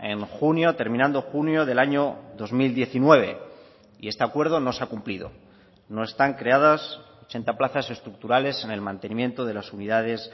en junio terminando junio del año dos mil diecinueve y este acuerdo no se ha cumplido no están creadas ochenta plazas estructurales en el mantenimiento de las unidades